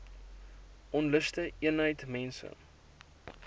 onluste eenheid mense